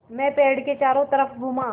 मैं पेड़ के चारों तरफ़ घूमा